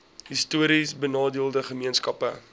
histories benadeelde gemeenskappe